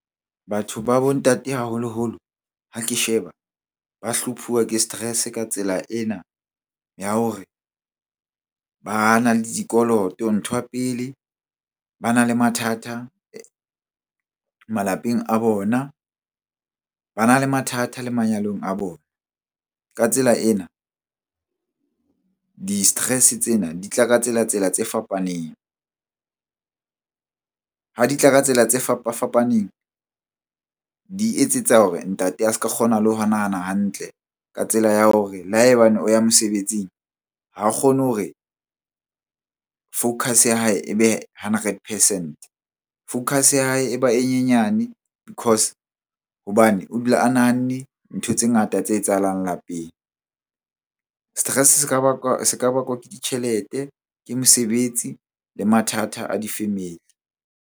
Batho ba bo ntate haholoholo ha ke sheba, ba hlophuwa ke stress-e ka tsela ena ya hore bana le dikoloto. Nthwa pele, bana le mathata malapeng a bona, bana le mathata le manyalong a bona. Ka tsela ena di-stress-e tsena di tla ka tsela-tsela tse fapaneng. Ha di tla ka tsela tse fapafapaneng, di etsetsa hore ntate a se ka kgona le ho nahana hantle ka tsela ya hore le ha ebane o ya mosebetsing ha kgone hore focus-e ya hae ebe hundred percent. Focus ya hae e ba e nyenyane because hobane o dula a nahanne ntho tse ngata tse etsahalang lapeng. Stress-e se ka bakwa ke ditjhelete, ke mosebetsi le mathata a di-family.